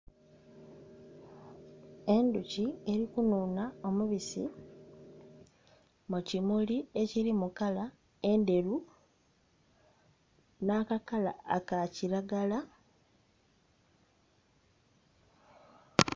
Endhoki eri kunhunha omubisi mu kimuli ekiri mu kala endheru nha kakakala aka kilagala.